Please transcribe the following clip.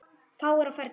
Fáir á ferli.